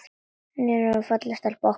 Nýfermd og falleg stelpan okkar.